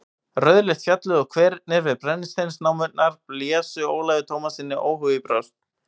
Rauðleitt fjallið og hverirnir við brennisteinsnámurnar blésu Ólafi Tómassyni óhug í brjóst.